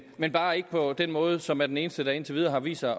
men bare ikke på den måde som er den eneste der indtil videre vist sig